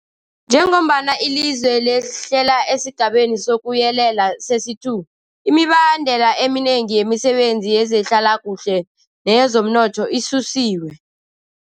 Njengombana ilizwe lehlela esiGabeni sokuYelela sesi-2, imibandela eminengi yemisebenzi yezehlalakuhle neyezomnotho isusiwe.